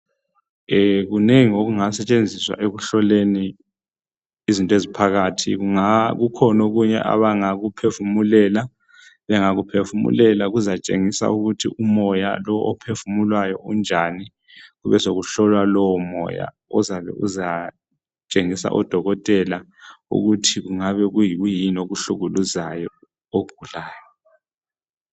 kunengi okungasetshenziswa ekuhloleni izinto eziphakathi kunga kukhona okunye abangakuphefumulela bengakuphefumulela kuzatshengisa ukuthi umoya lo ophefumulwayo unjani kube sekuhlolwa lowo moya ozabe uzatshengisa odokotela ukuthi kungabe kuyikuyini okuhlukuluzayo ogulayo